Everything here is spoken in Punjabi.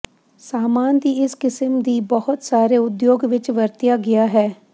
ਸਾਮਾਨ ਦੀ ਇਸ ਕਿਸਮ ਦੀ ਬਹੁਤ ਸਾਰੇ ਉਦਯੋਗ ਵਿੱਚ ਵਰਤਿਆ ਗਿਆ ਹੈ